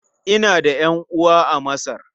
Ina da ƴan'uwa a Masar.